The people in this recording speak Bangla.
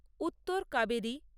উত্তর কাবেরী